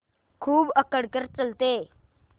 खूब अकड़ कर चलते